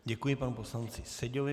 Děkuji panu poslanci Seďovi.